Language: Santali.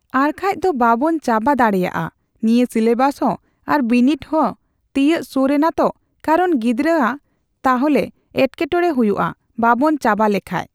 ᱟᱨᱠᱷᱟᱡ ᱫᱚ ᱵᱟᱵᱚᱱ ᱪᱟᱵᱟ ᱫᱟᱲᱮᱭᱟᱜᱼᱟ ᱱᱤᱭᱟᱹ ᱥᱮᱞᱮᱵᱟᱥ ᱦᱚᱸ ᱟᱨ ᱵᱤᱱᱤᱰ ᱦᱚᱸ ᱛᱤᱭᱟᱹᱜ ᱥᱩᱨ ᱱᱟᱛᱚ ᱠᱟᱨᱚᱱ ᱜᱤᱰᱽᱨᱟᱹ ᱟᱜ ᱛᱟᱦᱞᱮ ᱮᱴᱠᱮᱴᱚᱲᱮ ᱦᱩᱭᱩᱜᱼᱟ ᱵᱟᱵᱚᱱ ᱪᱟᱵᱟ ᱞᱮᱠᱷᱟᱡ᱾